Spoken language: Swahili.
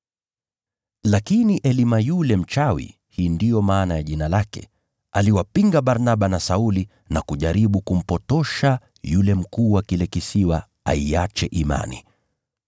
Lakini Elima yule mchawi (hii ndiyo maana ya jina lake), aliwapinga Barnaba na Sauli na kujaribu kumpotosha yule mkuu wa kile kisiwa aiache imani.